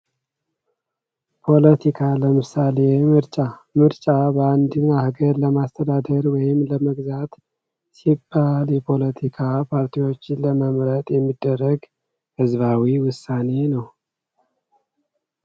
ፖለቲካ ለመሳሌ፦ ምርጫ፤ ምርጫ በአንድ ሀገር ለማስተዳደር ወይም ለመግዛት ሲባል የፖለቲካ ፓርቲዎች ለመምረጥ የሚደረግ ህዝባዊ ውሳኔ ነው።